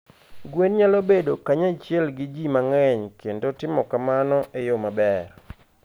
Gwen nyalo bedo kanyachiel gi ji mang'eny kendo timo kamano e yo maber.